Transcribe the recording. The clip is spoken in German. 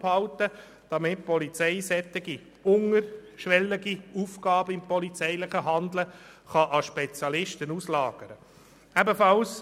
Damit die Polizei solche niederschwelligen Aufgaben im polizeilichen Handeln an Spezialisten auslagern kann, müssen wir diese Option offenhalten.